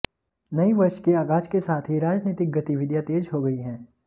नये वर्ष के आगाज के साथ ही राजनीतिक गतिविधियां तेज हो गई हैं